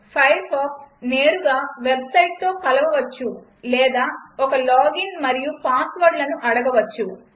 Firefox నేరుగా వెబ్సైట్తో కలపవచ్చు లేదా ఒక లాగిన్ మరియు పాస్వర్డ్లను అడగవచ్చు